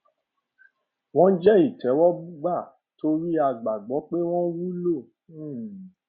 wọn jẹ ìtẹwọgbà torí a gbàgbọ pé wọn wúlò um